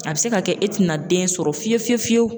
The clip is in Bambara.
A bɛ se ka kɛ e te na den sɔrɔ fiyewu fiyewu fiyewu.